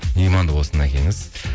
иманды болсын әкеңіз